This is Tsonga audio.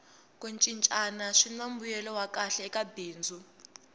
ku cincana swini mbuyelo wa kahle eka bindzu